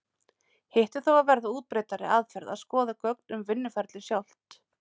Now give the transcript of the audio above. Hitt er þó að verða útbreiddari aðferð að skoða gögn um vinnuferlið sjálft.